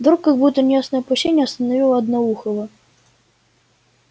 вдруг как будто неясное опасение остановило одноухого